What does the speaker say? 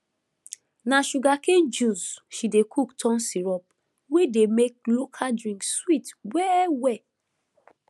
na sugarcane juice she dey cook turn syrup wey dey make local drink sweet wellwell